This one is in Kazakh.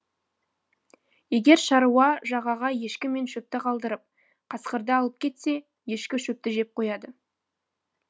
егер шаруа жағаға ешкі мен шөпті қалдырып қасқырды алып кетсе ешкі шөпті жеп қояды